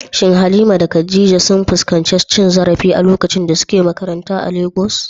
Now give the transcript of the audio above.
Shin Halima da Khadija sun fuskanci cin zarafi a lokacin da suke makaranta a Legas?